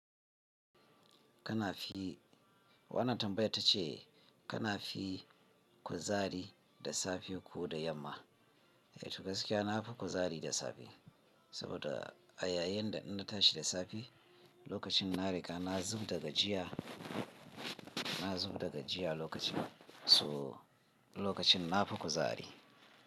Kana fi, wanan tambayar ta ce kana fi kuzari da safe ko da yamma? Eh, to gaskiya na fi kuzari da safe, saboda a yayin da in na tashi da safe, lokacin na riga na zub da gajiya, na zub da gajiya lokacin, so lokacin na fi kuzari.